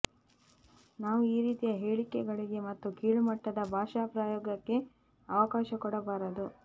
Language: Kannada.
ನಾವು ಈ ರೀತಿಯ ಹೇಳಿಕೆಗಳಿಗೆ ಮತ್ತು ಕೀಳು ಮಟ್ಟದ ಭಾಷಾ ಪ್ರಯೋಗಕ್ಕೆ ಅವಕಾಶ ಕೊಡಬಾರದು